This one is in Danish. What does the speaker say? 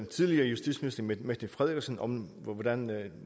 tidligere justitsminister mette frederiksen om hvordan